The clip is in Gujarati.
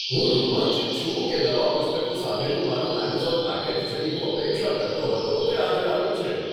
હું રોમાંચિત છું કે નવા પુસ્તકો સાથેનું મારું એમેઝોન પેકેજ, જેની હું અપેક્ષા કરતો હતો, તે આજે આવ્યું છે.